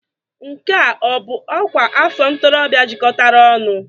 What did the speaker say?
Nke a ọ bụ ọkwa afọ ntorobịa jikọtara ọnụ?